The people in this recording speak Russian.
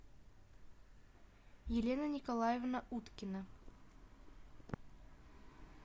елена николаевна уткина